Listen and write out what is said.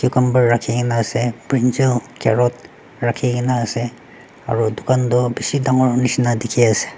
kamber rakhikaena ase brinjal carrot rakhikaena ase aro dukan toh bishi dangor nishina dikhiase.